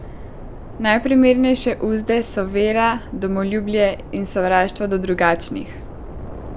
Najprimernejše uzde so vera, domoljubje in sovraštvo do drugačnih.